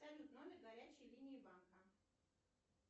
салют номер горячей линии банка